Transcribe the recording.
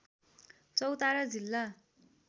चौतारा जिल्ला